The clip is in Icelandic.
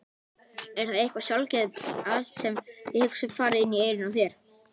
Er það eitthvað sjálfgefið að allt sem ég hugsa fari inn í eyrun á þér!